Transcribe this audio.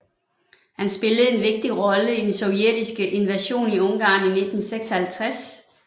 Han spillede en vigtig rolle i den sovjetiske invasion i Ungarn i 1956